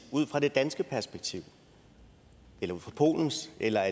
ud fra det danske perspektiv eller ud fra polens eller